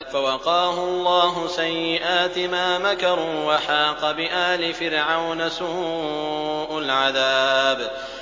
فَوَقَاهُ اللَّهُ سَيِّئَاتِ مَا مَكَرُوا ۖ وَحَاقَ بِآلِ فِرْعَوْنَ سُوءُ الْعَذَابِ